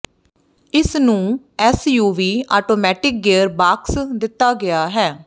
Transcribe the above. ਇਸ ਨੂੰ SUV automatic gear box ਦਿੱਤਾ ਗਿਆ ਹੈ